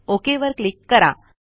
okay वर click करा